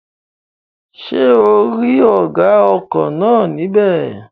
Ṣé ò rí ọ̀gá ọkọ̀ náà ní bẹ̀?